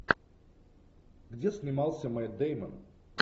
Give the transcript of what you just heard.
где снимался мэтт дэймон